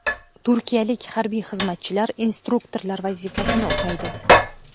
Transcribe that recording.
Turkiyalik harbiy xizmatchilar instruktorlar vazifasini o‘taydi.